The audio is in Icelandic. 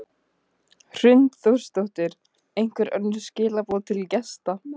Hrund Þórsdóttir: Einhver önnur skilaboð til gesta?